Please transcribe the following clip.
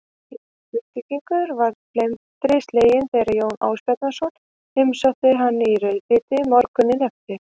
Jón Grindvíkingur varð felmtri sleginn þegar Jón Ásbjarnarson heimsótti hann í rauðabítið morguninn eftir.